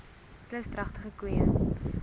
plus dragtige koeie